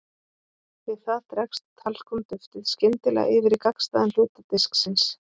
Við það dregst talkúm-duftið skyndilega yfir í gagnstæðan hluta disksins.